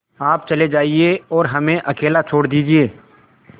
आप चले जाइए और हमें अकेला छोड़ दीजिए